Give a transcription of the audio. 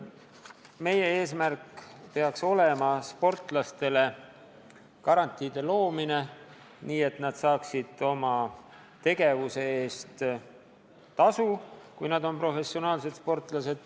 Meie eesmärk peaks olema sportlastele garantiide loomine, nii et nad saaksid oma tegevuse eest tasu, kui nad on professionaalsed sportlased.